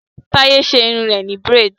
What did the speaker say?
Taye ṣe irun rẹ ni braids